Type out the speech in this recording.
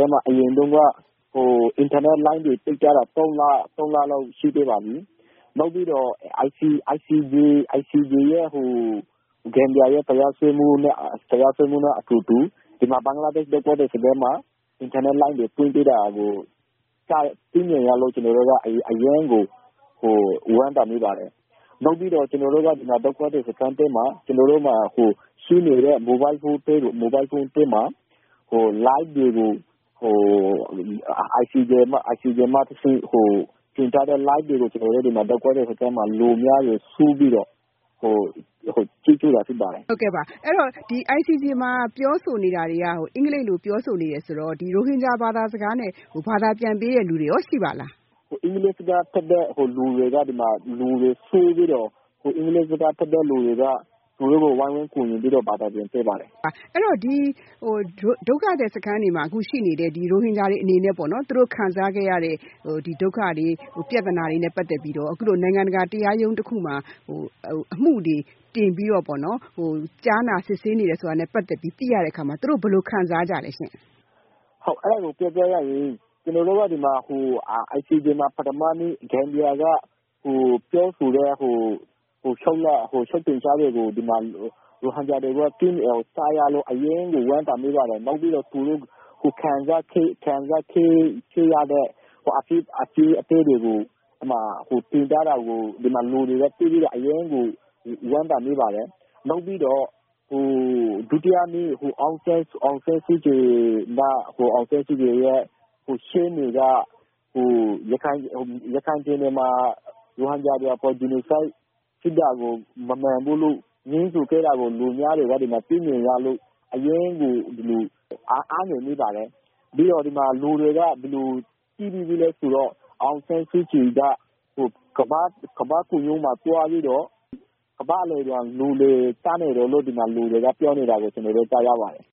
န်းမှာ အရင်တုန်းက အင်တာနက်လိုင်းတွေပိတ်ထားတာ သုံးလလောက် ရှိခဲ့ပါပြီ။ နောက်ပြီးတော့ ICJ မှာ ဂမ်ဘီယာရဲ့တရားစွဲမှု နဲ့အတူတူ ဒီမှာ ဘင်္ဂလားဒေ့ရှ်ဒုက္ခသည်စခန်းတွေမှာ အင်တာနက်လိုင်းတွေဖွင့်ပေးတာကို သိမြင်ရလို့ ကျနော်တို့က အရမ်းကို ဝမ်းသာမိပါတယ်။ နောက်ပြီးတော့ ကျနော်တို့က ဒုက္ခသည်စခန်းထဲမှာ ရှိနေတဲ့ မိုဘိုင်းဖုန်းထဲမှာ ICJ က တင်ထားတဲ့ live တွေကို လူအများတွေ စုပြီးတော့ ကြည့်ခဲ့တာဖြစ်ပါတယ်။ မေး။ ။ ဟုတ်ကဲ့။ အဲဒီတော့ ICJ မှာ ပြောဆိုနေတာတွေက အင်္ဂလိပ်လို ပြောဆိုနေတယ်ဆိုတော့ ရိုဟင်ဂျာဘာသာစကားနဲ့ ဘာသာပြန်ပေးတဲ့လူတွေရော ရှိပါသလား။ ဖြေ။ ။ အင်္ဂလိပ်စကားတတ်တဲ့လူတွေက ဝိုင်းဝန်းကူညီပြီးတော့ ဘာသာပြန်ပေးပါတယ်။ မေး။ ။ အဲဒီတော့ ဒီ ဒုက္ခသည်စခန်းတွေမှာ ရှိနေတဲ့ ရိုဟင်ဂျာတွေအနေနဲ့ သူတို့ခံစားခဲ့ရတဲ့ ဒုက္ခတွေ၊ ပြဿနာတွေနဲ့ပတ်သက်ပြီးတော့ အခုလို နိုင်ငံတကာ တရားရုံးတခုမှာ အမှုတွေတင်ပြီးတော့ ကြားနာ စစ်ဆေးနေတယ်ဆိုတာနဲ့ ပတ်သက်ပြီး သိရတဲ့အခါမှာ သူတို့ ဘယ်လို ခံစားကြလဲရှင့်။ ဖြေ။ ။ ဟုတ်ကဲ့။ အဲဒါကို ပြောပြရရင် ICJ မှာ ပထမနေ့ ဂမ်ဘီယာက ပြောဆိုတဲ့ လျှောက်တင်ချက်ကို ဒီမှာ ရိုဟင်ဂျာတွေက ကြားရလို့ အရမ်းကို ဝမ်းသာမိပါတယ်။ နောက်ပြီးတော့ ကိုယ်ခံစားခဲ့ရတဲ့အဖြစ်အပျက်တွေကို တင်ပြတာကို လူတွေကတွေ့ပြီးတော့ အရမ်းကိုဝမ်းသာမိပါတယ်။ နောက်ပြီးတော့ ဒုတိယနေ့ ဒေါ်အောင်ဆန်းစုကြည်ရဲ့ရှေ့နေက ရခိုင်ပြည်နယ်မှာ ရိုဟင်ဂျာတွေအပေါ် Genocide ဖြစ်တာကို မမှန်ဘူးလို့ ငြင်းဆိုခဲ့တာကို လူအများတွေက သိမြင်ရလို့ အရမ်းကို အားငယ်မိပါတယ်။ ပြီးတော့ ဒီမှာလူတွေက ဘယ်လိုထင်မိသလဲ ဆိုတော့ ဒေါ်အောင်ဆန်းစုကြည်က ကမ္ဘာ့ခုံရုံးမှာသွားပြီးတော့ ကမ္ဘာ့အလယ်မှာ လူလည်ကျနေတယ်လို့ ဒီမှာ လူတွေကပြောနေတာကို ကျနော်တို့ ကြားရပါတယ်